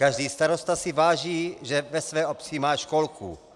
Každý starosta si váží, že ve své obci má školku."